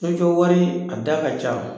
So jɔ wari, a da ka ca